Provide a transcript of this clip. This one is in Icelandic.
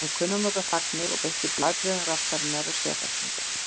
Hann kunni að nota þagnir og beitti blæbrigðum raddarinnar af sérþekkingu.